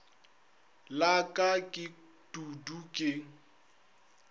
la ka ke dudu ke